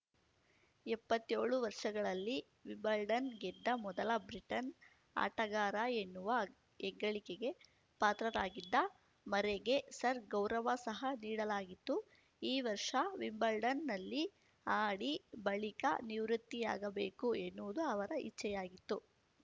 ಎಂಬತ್ತೇಳು ವರ್ಷಗಳಲ್ಲಿ ವಿಂಬಲ್ಡನ್‌ ಗೆದ್ದ ಮೊದಲ ಬ್ರಿಟನ್‌ ಆಟಗಾರ ಎನ್ನುವ ಹೆಗ್ಗಳಿಕೆಗೆ ಪಾತ್ರರಾಗಿದ್ದ ಮರ್ರೆಗೆ ಸರ್ಗೌರವ ಸಹ ನೀಡಲಾಗಿತ್ತು ಈ ವರ್ಷ ವಿಂಬಲ್ಡನ್‌ನಲ್ಲಿ ಆಡಿ ಬಳಿಕ ನಿವೃತ್ತಿಯಾಗಬೇಕು ಎನ್ನುವುದು ಅವರ ಇಚ್ಛೆಯಾಗಿತ್ತು